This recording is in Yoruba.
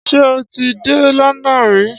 Ṣé ò ti dé London rí?